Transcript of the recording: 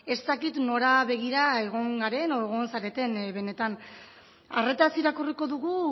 ez dakit nora begira egon garen edo egon zareten benetan arretaz irakurriko dugu